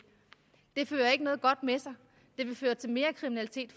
det fører ikke noget godt med sig det vil føre til mere kriminalitet